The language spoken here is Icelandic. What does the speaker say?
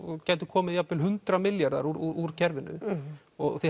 gætu komið jafn vel hundrað milljarðar úr kerfinu og þið